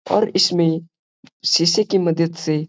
और इसमें शीशे की मदद से --